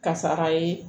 Kasara ye